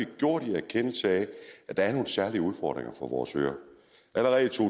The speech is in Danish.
gjort i erkendelse af at der er nogle særlige udfordringer for vores øer allerede i to